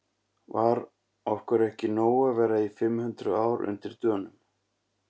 Var okkur ekki nóg að vera í fimm hundruð ár undir Dönum?